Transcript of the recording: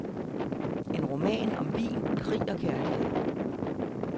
En roman om vin, krig og kærlighed.